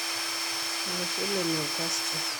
Olosho le Newcastle.